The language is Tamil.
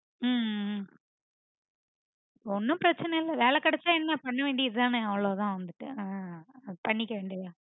உம் உம் ஒன்னும் பிரச்னை இல்ல வேலை கிடைச்சிச்சா என்ன பண்ணவேண்டியதுதானா அவ்ளோதா வந்துட்டு அஹ் பண்ணிக்கவேண்டியதுதா